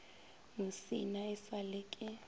musina e sa le ke